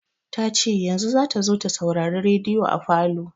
Ta ce yanzu za ta zo ta saurari rediyo a falo.